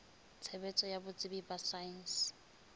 tshebetso ya botsebi ba saense